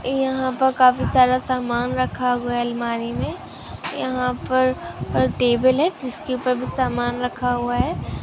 ए यहा पे काफी सारा समान रखा हुआ है अलमारी मे यहा पर टेबल है जिसके ऊपर समान रखा हुआ है।